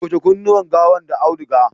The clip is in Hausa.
toshe kunnuwan gawan da auduga!